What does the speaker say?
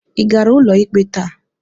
Ị gara ụlọikpe taa?